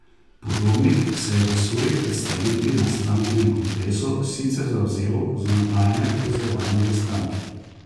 Podobnik se je v svoji predstavitvi na strankinem kongresu sicer zavzel za nadaljnje povezovanje v stranki.